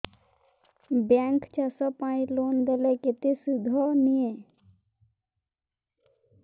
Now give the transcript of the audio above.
bank ଚାଷ ପାଇଁ loan ଦେଲେ କେତେ ସୁଧ ନିଏ